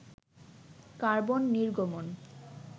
carbon নির্গমন